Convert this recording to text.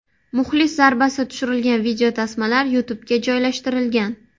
Muxlis zarbasi tushirilgan videotasmalar YouTubega joylashtirilgan.